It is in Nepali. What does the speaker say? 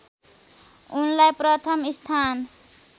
उनलाई प्रथम स्थान